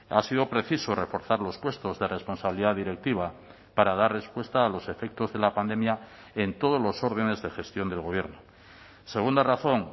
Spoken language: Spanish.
ha sido preciso reforzar los puestos de responsabilidad directiva para dar respuesta a los efectos de la pandemia en todos los órdenes de gestión del gobierno segunda razón